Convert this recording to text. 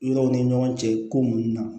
Yɔrɔw ni ɲɔgɔn cɛ ko munnu na